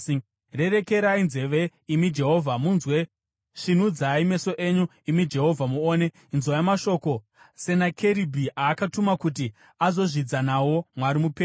Rerekerai nzeve, imi Jehovha, munzwe; svinudzai meso enyu, imi Jehovha, muone; inzwai mashoko Senakeribhi aakatuma kuti azozvidza nawo Mwari mupenyu.